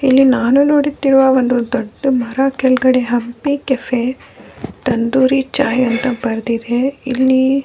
ಇಲ್ಲಿ ನಾನು ನೋಡುತ್ತಿರುವ ಒಂದು ದೊಡ್ಡ ಮರ ಕೆಳಗಡೆ ಹಬ್ಬಿ ಕೆಫೆ ತಂದೂರಿ ಚಾಯ್ ಅಂತ ಬರೆದಿದೆ ಇಲ್ಲಿ --